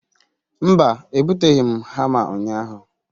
mba, ebuteghi hama unyahu